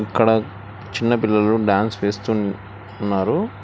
ఇక్కడ చిన్న పిల్లలు డ్యాన్స్ వేస్తున్ ఉన్నారు.